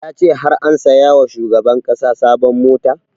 Ya ce har an saya wa shugaban ƙasa sabon mota